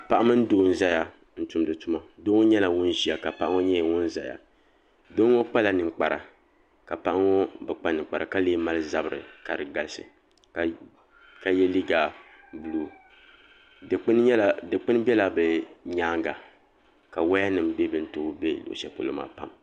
Paɣa mimi doo n zaya n tumdi tuma doo ŋɔ nyɛla ŋun ʒia ka paɣa ŋɔ nyɛ ŋun zaya doo ŋɔ kpala ninkpara kaɣa ŋɔ bi kpa ninkpara ka lee mali zabri ka di galisi ka ye liiga buluu dikpini bela bɛ nyaanga ka waya nima bɛ bini too be luɣusheli polo maa pam.